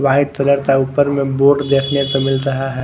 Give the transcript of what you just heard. White colour का ऊपर में बोर्ड देखने को मिल रहा है।